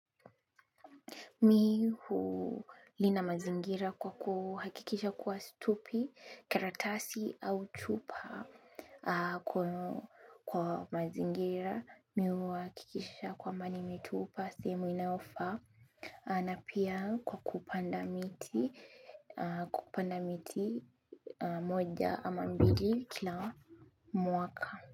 Mi hulinda mazingira kwa kuhakikisha kwa situpi, karatasi, au chupa kwa mazingira. Mi huhakikisha kwamba nimetupa, sehemu inayofaa. Na pia kwa kupanda miti, kupanda miti moja ama mbili kila mwaka.